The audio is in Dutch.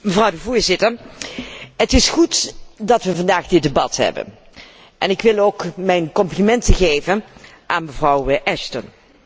Mevrouw de Voorzitter, het is goed dat we vandaag dit debat hebben. Ik wil ook mijn complimenten geven aan mevrouw Ashton.